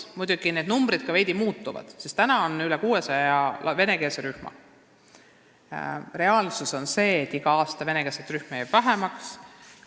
Muidugi need ka muutuvad veidi: praegu on Eestis üle 600 venekeelse rühma, aga reaalsus on see, et iga aastaga jääb venekeelseid rühmi vähemaks.